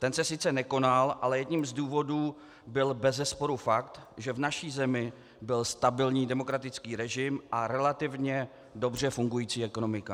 Ten se sice nekonal, ale jedním z důvodů byl bezesporu fakt, že v naší zemi byl stabilní demokratický režim a relativně dobře fungující ekonomika.